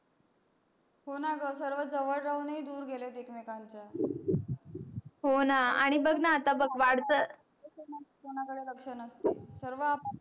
हो णा ग सर्व जवड राहून ही दूर गेले एकमेकाच्या हो णा आणि बग आता बग वाड्त्या कोणा कडे लक्ष नसते सर्व आपापल्या